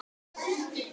Rakel Rós og Davíð Már.